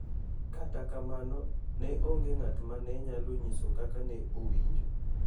To kata kamano ne onge ng'atma ne onyalo nyiso kaka ne owinjo